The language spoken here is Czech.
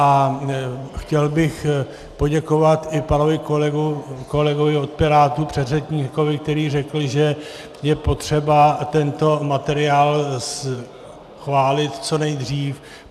A chtěl bych poděkovat i panu kolegovi od Pirátů, předřečníkovi, který řekl, že je potřeba tento materiál schválit co nejdřív.